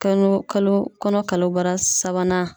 Kalo kalo kɔnɔ kalobara sabanan